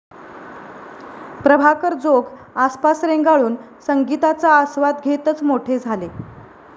प्रभाकर जोग आसपास रेंगाळून संगीताचा आस्वाद घेतच मोठे झाले.